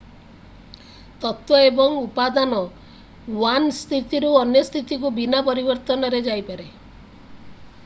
ତତ୍ତ୍ଵ ଏବଂ ଉପାଦାନ 1 ସ୍ଥିତିରୁ ଅନ୍ୟ ସ୍ଥିତିକୁ ବିନା ପରିବର୍ତ୍ତନରେ ଯାଇପାରେ